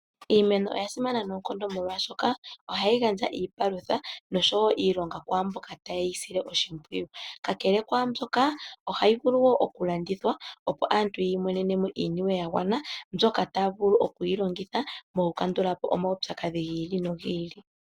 Iimeno oya simana noonkondo molwashoka ohayi gandja iipalutha ,osho wo iilonga kwamboka taye yi sile oshimpwiyu. Kakele kwambyoka ohayi vulu wo okulandutha opo aantu yi monenemo iiyemo ya gwana mbyoka taya vulu okuyilongitha okukandula po omaupyakadhi gi ili nog ili .